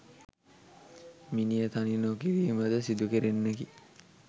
මිනිය තනි නො කිරීම ද සිදුකෙරෙන්නකි.